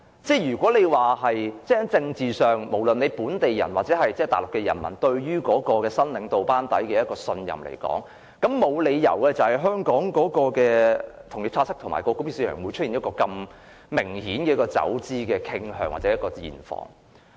在政治上，不論是本地人或大陸人民對於新領導班底的信任，沒理由會使香港的同業拆息及港元匯價市場出現一個如此明顯的走資傾向或現況。